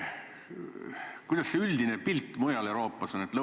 Kuidas see üldine pilt mujal Euroopas on?